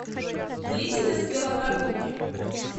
длительность велопрогулки